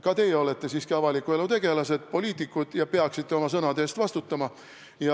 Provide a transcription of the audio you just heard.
Ka teie olete siiski avaliku elu tegelased, poliitikud, ja peaksite oma sõnade eest vastutama.